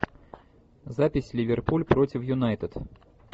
запись ливерпуль против юнайтед